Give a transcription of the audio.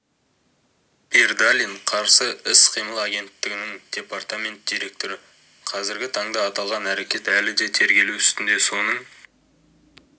бердалин қарсы іс-қимыл агенттігінің департамент директоры қазіргі таңда аталған әрекет әлі де тергелі үстінде соның